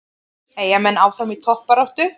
Eyjamenn áfram í toppbaráttu